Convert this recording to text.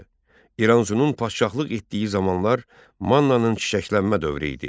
İranzunun padşahlıq etdiyi zamanlar Mannanın çiçəklənmə dövrü idi.